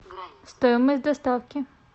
стоимость доставки